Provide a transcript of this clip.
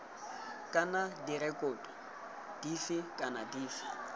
kana direkoto dife kana dife